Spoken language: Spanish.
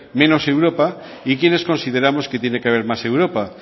menos europa y quienes consideramos que tiene que haber más europa